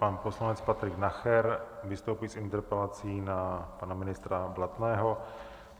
Pan poslanec Patrik Nacher vystoupí s interpelací na pana ministra Blatného.